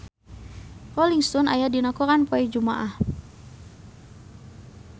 Rolling Stone aya dina koran poe Jumaah